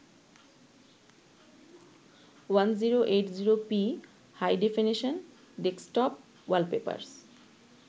1080p High-definition desktop wallpapers